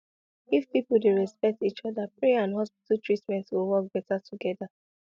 if people dey respect each other prayer and hospital treatment go work better together